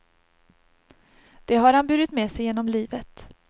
Det har han burit med sig genom livet.